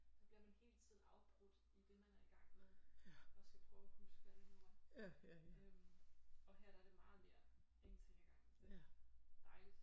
Der bliver man hele tiden afbrudt i det man er i gang med og skal prøve at huske hvad det nu var øh og her er det meget mere en ting ad gangen dejligt